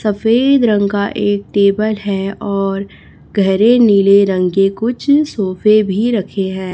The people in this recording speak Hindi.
सफेद रंग का एक टेबल है और गहरे नीले रंग के कुछ सोफे भी रखे हैं।